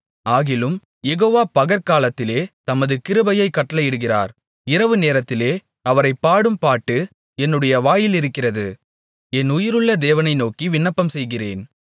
ஆகிலும் யெகோவா பகற்காலத்திலே தமது கிருபையைக் கட்டளையிடுகிறார் இரவுநேரத்திலே அவரைப் பாடும் பாட்டு என்னுடைய வாயிலிருக்கிறது என் உயிருள்ள தேவனை நோக்கி விண்ணப்பம்செய்கிறேன்